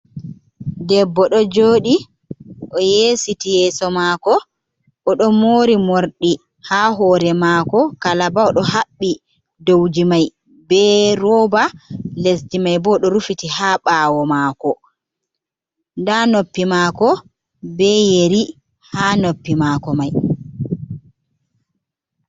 Debbo ɗo jooɗi. O yeesiti yeeso maako, odo moori morɗi haa hoore maako kalaba, oɗo haɓɓi dowji mai be rooba, lesji mai bo, oɗo rufiti haa ɓaawo maako, nda noppi maako be yeri haa noppi maako mai.